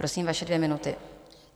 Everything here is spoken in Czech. Prosím, vaše dvě minuty.